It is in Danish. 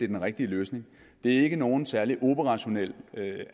den rigtige løsning det er ikke nogen særlig operationelt